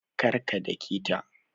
Kar ka dake ta